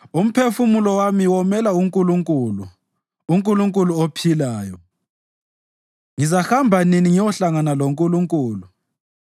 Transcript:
Umphefumulo wami womela uNkulunkulu, uNkulunkulu ophilayo. Ngizahamba nini ngiyohlangana loNkulunkulu?